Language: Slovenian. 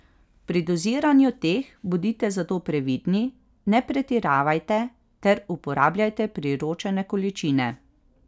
Pri doziranju teh bodite zato previdni, ne pretiravajte ter uporabljajte priporočene količine.